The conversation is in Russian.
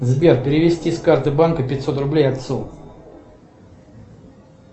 сбер перевести с карты банка пятьсот рублей отцу